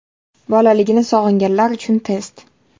Bolaligini sog‘inganlar uchun test.